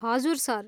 हजुर, सर।